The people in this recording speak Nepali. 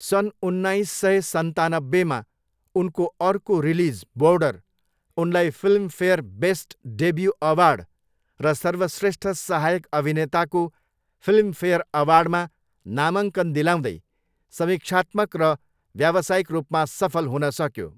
सन् उन्नाइस सय सन्तानब्बेमा उनको अर्को रिलिज बोर्डर, उनलाई फिल्मफेयर बेस्ट डेब्यू अवार्ड र सर्वश्रेष्ठ सहायक अभिनेताको फिल्मफेयर अवार्डमा नामाङ्कन दिलाउँदै समिक्षात्मक र व्यावसायिक रूपमा सफल हुनसक्यो।